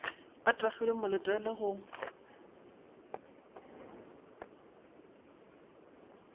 a tagilwe mo letele go